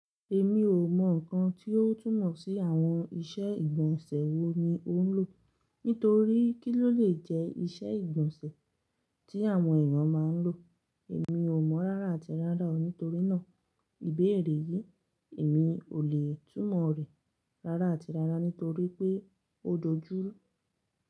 Èmi ò mọ̀ nǹkan tí ó túmọ̀ sí àwọn ìṣe ìgbọ̀nsẹ̀ wo ni ó ń lò. Nítorí kí ló lè jẹ́ ìṣe ìgbọ̀nsẹ̀ tí àwọn èèyàn máa ń lò. Èmi ò mọ̀ rárá àti rárá o, nítorí náà ìbéèrè yìí èmi ò lè túmọ̀ rẹ̀ rárá àti rárá nítorí pé ó dojú rú.